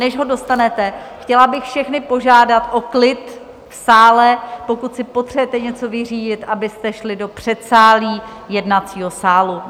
Než ho dostanete, chtěla bych všechny požádat o klid v sále, pokud si potřebujete něco vyřídit, abyste šli do předsálí jednacího sálu.